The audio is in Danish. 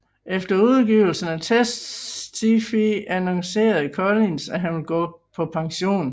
Efter udgivelsen af Testify annoncerede Collins at han ville gå på pension